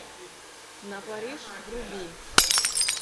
на париж вруби